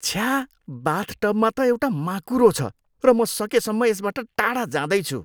छ्या, बाथटबमा त एउटा माकुरो छ र म सकेसम्म यसबाट टाढा जाँदैछु।